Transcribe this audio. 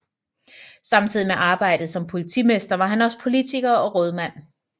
Samtidig med arbejdet som politimester var han også politiker og rådmand